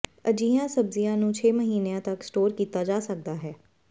ਅਜਿਹੀਆਂ ਸਬਜ਼ੀਆਂ ਨੂੰ ਛੇ ਮਹੀਨਿਆਂ ਤੱਕ ਸਟੋਰ ਕੀਤਾ ਜਾ ਸਕਦਾ ਹੈ